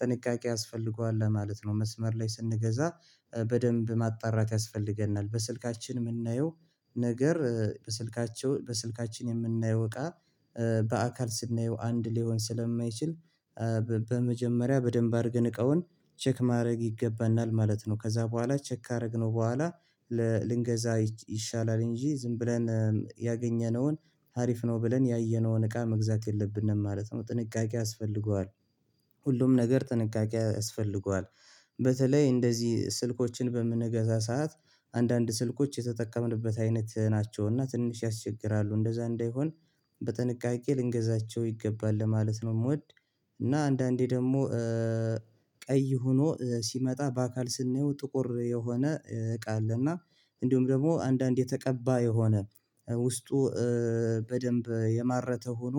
ጥንቃቄ ያስፈልገዋል ለማለት ነው መስመር ላይ ስንገዛ በደንብ ማጣራት ያስፈልገናል በስልካችን የምናየው ነገር በስልካቸው በስልካችን የምናየው እቃ በአካል ስናየው አንድ ሊሆን ስለማይችል በመጀመሪያ በደንብ አድርገን እቃውን ቼክ ማድረግ ይገባናል ማለት ነው ከዛ በኋላ ቼክ ካደረግነው በኋላ ልንገዛ ይሻላል እንጂ ዝም ብለን ያገኘነውን አሪፍ ነው ብለን ያየነውን እቃ መግዛት የለብንም ማለት ነው ጥንቃቄ ያስፈልገዋል ሁሉም ነገር ጥንቃቄ ያስፈልገዋል በተለይ እንደዚህ ስልኮችን በምንገዛ ሰዓት አንዳንድ ስልኮች የተጠቀምንበት አይነት ናቸውና ትንሽ ያስቸግራሉ እንደዛ እንዳይሆን በጥንቃቄ ልንገዛቸው ይገባል ለማለት ነው የምወድ እና አንዳንዴ ደግሞ ቀይ ሆኖ ሲመጣ በአካል ስናየው ጥቁር የሆነ እቃ አለ እና እንዲሁም ደግሞ አንዳንድ የተቀባ የሆነ ውስጡ በደንብ የማረተ ሆኖ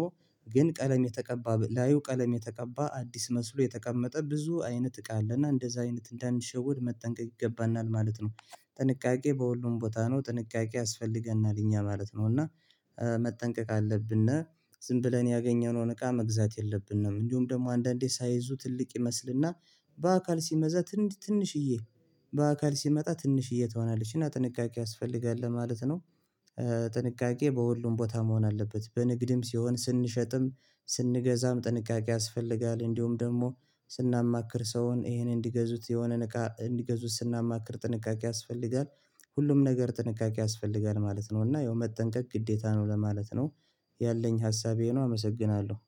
ግን ቀለም የተቀባ ላዩ ቀለም የተቀባ አዲስ መስሎ የተቀመጠ ብዙ አይነት እቃ አለና እንደዛ አይነት እንዳንሸወድ መጠንቀቅ ይገባናል ማለት ነው ጥንቃቄ በሁሉም ቦታ ነው ጥንቃቄ ያስፈልገናል እኛ ማለት ነው እና መጠንቀቅ አለብነ ዝም ብለን ያገኘነውን እቃ መግዛት የለብንም እንዲሁም ደግሞ አንዳንዴ ሳይዙ ትልቅ ይመስልና በአካል ሲመዛ ትንሽዬ በአካል ሲመጣ ትንሽዬ ትሆናለች እና ጥንቃቄ ያስፈልጋል ለማለት ነው ጥንቃቄ በሁሉም ቦታ መሆን አለበት በንግድም ሲሆን ስንሸጥም ስንገዛም ጥንቃቄ ያስፈልጋል እንዲሁም ደግሞ ስናማክር ሰውን ይሄን እንዲገዙት የሆነ ንቃት እንዲገዙት ስናማክር ጥንቃቄ ያስፈልጋል ሁሉም ነገር ጥንቃቄ ያስፈልጋል ማለት ነው እና ያው መጠንቀቅ ግዴታ ነው ለማለት ነው ያለኝ ሀሳቤ ነው አመሰግናለሁ